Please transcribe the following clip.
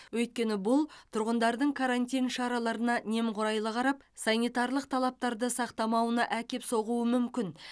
өйткені бұл тұрғындардың карантин шараларына немқұрайлы қарап санитарлық талаптарды сақтамауына әкеп соғуы мүмкін